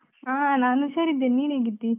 ಹಾ ನಾನು ಹುಷಾರಿದ್ದೇನೆ, ನೀನು ಹೇಗಿದ್ದೀ?